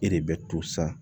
E de bɛ to san